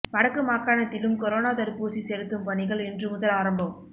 வடக்கு மாகாணத்திலும் கொரோனா தடுப்பூசி செலுத்தும் பணிகள் இன்று முதல் ஆரம்பம்